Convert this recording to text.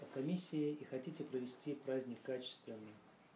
комиссия и хотите провести праздник качественно